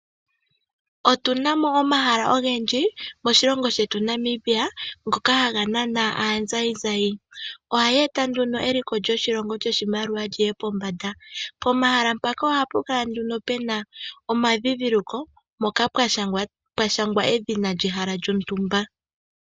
Otu na mo omahala ogendji moshilongo shetu Namibia ngoka haga nana aazayizayi. Ohayi eta nduno eliko lyoshilongo lyoshimaliwa li ye pombanda. Pomahala mpaka ohapu kala nduno pu na omandhindhiliko mpoka pwa shangwa edhina lyehala lyontumba.